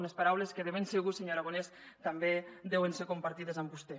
unes paraules que de ben segur senyor aragonès també deuen ser compartides amb vostè